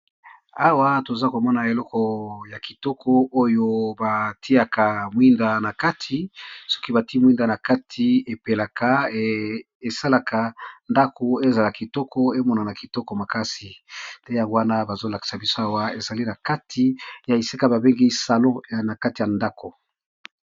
Awa toza komona eloko ya kitoko oyo batiaka mwinda na kati, awa ezali bongo na salon